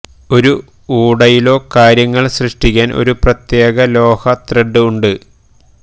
ഒരു ഊടയിലോ കാര്യങ്ങൾ സൃഷ്ടിക്കാൻ ഒരു പ്രത്യേക ലോഹ ത്രെഡ് ഉണ്ട്